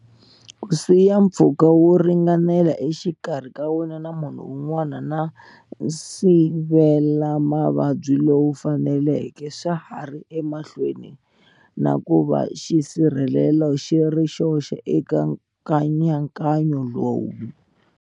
Ku siya mpfhuka wo ringanela exikarhi ka wena na munhu wun'wana na nsivelamavabyi lowu faneleke swa ha ri emahlweni na ku va xisirhelelo xi ri xoxe eka nkayankayo lowu.